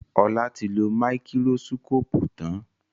Ola tí lọ Máíkírósíkópù tán